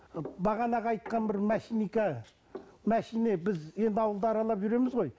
ы бағанағы айтқан бір машина біз енді ауылда аралап жүреміз ғой